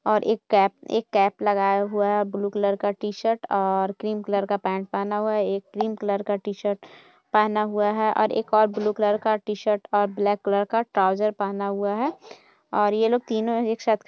और एक कैप एक कैप लगाया हुआ है और ब्लू कलर का टी-शर्ट और क्रीम कलर का पैंट पहना हुआ है एक क्रीम कलर का टी-शर्ट पहना हुआ है और एक और ब्लू कलर का टी-शर्ट और ब्लैक कलर का ट्रॉउज़र पहना हुआ है और ये लोग तीनों एक साथ ख --